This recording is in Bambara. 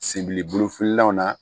Senbiliboli fililanw na